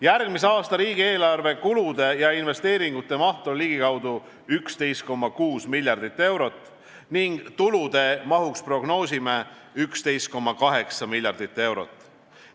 Järgmise aasta riigieelarve kulude ja investeeringute maht on ligikaudu 11,6 miljardit eurot ning tulude mahuks prognoosime 11,8 miljardit eurot.